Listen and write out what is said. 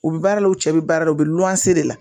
U bɛ baara la u cɛ be baara la u be luwanse de la